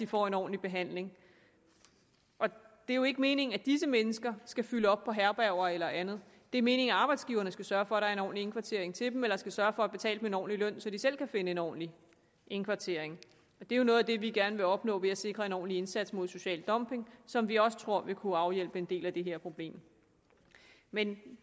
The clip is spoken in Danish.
får en ordentlig behandling det er jo ikke meningen at disse mennesker skal fylde op på herberger eller andet det er meningen at arbejdsgiverne skal sørge for at der er en ordentlig indkvartering til dem eller skal sørge for at betale dem en ordentlig løn så de selv kan finde en ordentlig indkvartering og det er noget af det vi gerne vil opnå ved at sikre en ordentlig indsats mod social dumpning som vi også tror vil kunne afhjælpe en del af det her problem men